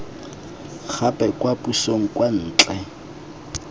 gape kwa pusong kwa ntle